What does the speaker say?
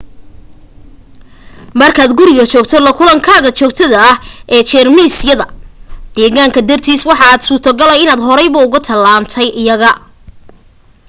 markaad guriga joogto la kulankaaga joogtada ah ee jeermisyada deegaanka dartiisa waxa aad u suurtogala inaad horeyba uga tallaalantay iyaga